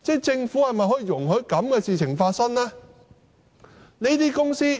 政府是否容許這樣的事情發生呢？